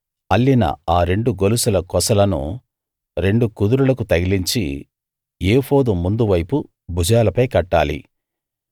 అల్లిన ఆ రెండు గొలుసుల కొసలను రెండు కుదురులకు తగిలించి ఏఫోదు ముందు వైపు భుజాలపై కట్టాలి